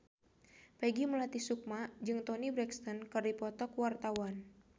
Peggy Melati Sukma jeung Toni Brexton keur dipoto ku wartawan